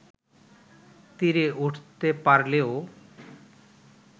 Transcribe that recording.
তীরে উঠতে পারলেও